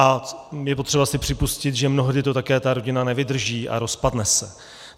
A je potřeba si připustit, že mnohdy to také ta rodina nevydrží a rozpadne se.